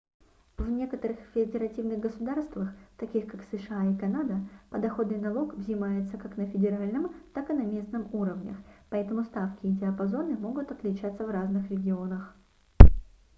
в некоторых федеративных государствах таких как сша и канада подоходный налог взимается как на федеральном так и на местном уровнях поэтому ставки и диапазоны могут отличаться в разных регионах